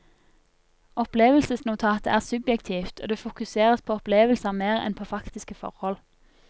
Opplevelsesnotatet er subjektivt, og det fokuseres på opplevelser mer enn på faktiske forhold.